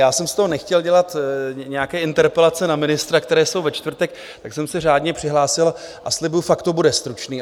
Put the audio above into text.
Já jsem z toho nechtěl dělat nějaké interpelace na ministra, které jsou ve čtvrtek, tak jsem se řádně přihlásil, a slibuju, fakt to bude stručný.